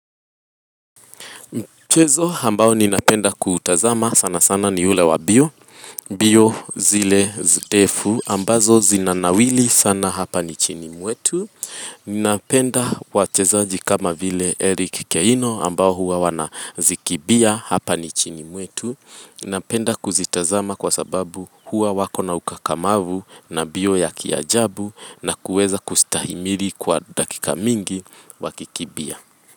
Mchezo ambao ninapenda kutazama sana sana ni ule wa mbio, mbio zile ndefu ambazo zinanawiri sana hapa nchini mwetu. Ninapenda wachezaji kama vile Eric Keino ambao huwa wanazikimbia hapa nchini mwetu. Ninapenda kuzitazama kwa sababu huwa wako na ukakamavu na mbio ya kiajabu na kuweza kustahimili kwa dakika mingi wakikimbia.